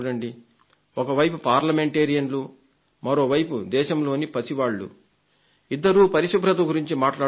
ఒకవైపు పార్లమెంటేరియన్లు మరోవైపు దేశంలోని పసివాళ్లు ఇద్దరూ పరిశుభ్రత గురించి మాట్లాడుతున్నారు